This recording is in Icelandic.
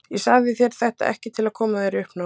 Ég sagði þér þetta ekki til að koma þér í uppnám.